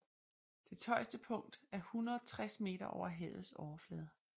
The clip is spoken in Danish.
Dets højeste punkt er 160 meter over havets overflade